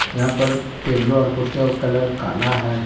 यहां पर टेबलो और कुर्सीयो का कलर काला है।